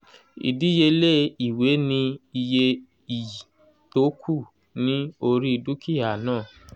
ìdíyelé ìwé ni iye iyì tó kù ní orí dúkìá náà